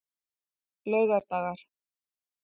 laugardagar